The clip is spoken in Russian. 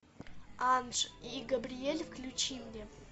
анж и габриель включи мне